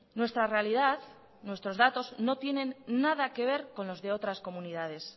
nuestra realidad nuestros datos no tienen nada que ver con lo de otras comunidades